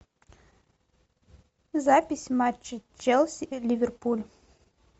запись матча челси ливерпуль